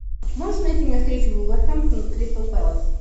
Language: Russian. можешь найти мне встречу вулверхэмптон кристал пэлас